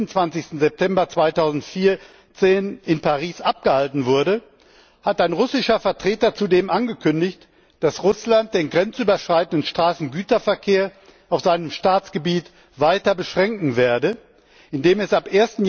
und 26. September 2014 in Paris abgehalten wurde, hat ein russischer Vertreter zudem angekündigt, dass Russland den grenzüberschreitenden Straßengüterverkehr auf seinem Staatsgebiet weiter beschränken werde, indem es ab